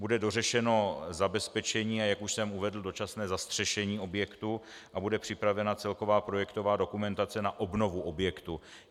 Bude dořešeno zabezpečení, a jak už jsem uvedl, dočasné zastřešení objektu a bude připravena celková projektová dokumentace na obnovu objektu.